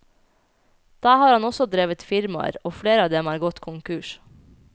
Der har han også drevet firmaer, og flere av dem er gått konkurs.